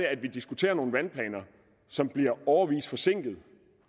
at vi diskuterer nogle vandplaner som bliver årevis forsinket